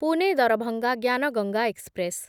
Pune Darbhanga Gyan Ganga express